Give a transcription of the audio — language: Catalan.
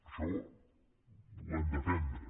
això ho hem d’aprendre